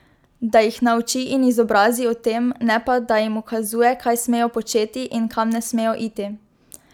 Da jih nauči in izobrazi o tem, ne pa, da jim ukazuje, kaj smejo početi in kam ne smejo iti.